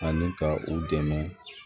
Ani ka u dɛmɛ